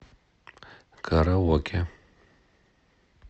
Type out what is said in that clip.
караоке